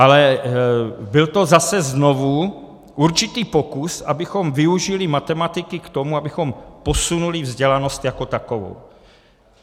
Ale byl to zase znovu určitý pokus, abychom využili matematiky k tomu, abychom posunuli vzdělanost jako takovou.